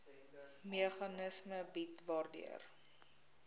meganisme bied waardeur